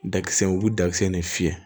Dakisɛ u bɛ dakisɛ ne fiyɛ